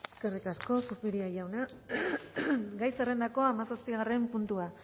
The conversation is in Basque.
eskerrik asko zupiria jauna gai zerrendako hamazazpigarren puntua